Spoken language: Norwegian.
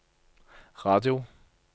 radio